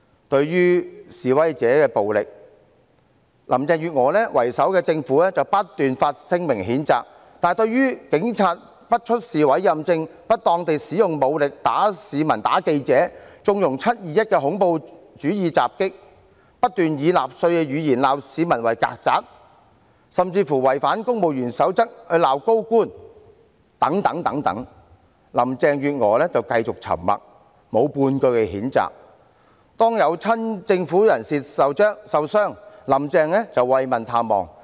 對於示威者的暴力，以林鄭月娥為首的政府不斷發聲明譴責，但對於警員不出示委任證、不當地使用武力毆打市民和記者、縱容"七二一"的恐怖主義襲擊、不斷以納粹言語責罵市民為"曱甴"，甚至違反《公務員守則》責罵高官等，林鄭月娥就繼續沉默，沒有半句譴責。每當有親政府人士受傷，"林鄭"便慰問探望。